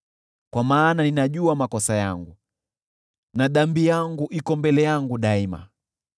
Kwa maana ninajua makosa yangu, na dhambi yangu iko mbele yangu daima.